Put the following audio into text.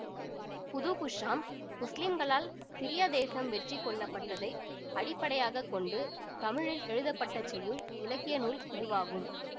புதூகுஷ்ஷாம் முஸ்லிம்களால் சிரியா தேசம் வெற்றி கொள்ளப்பட்டதை அடிப்படையாக கொண்டு தமிழில் எழுதப்பட்ட செய்யுள் இலக்கிய நூல் இதுவாகும்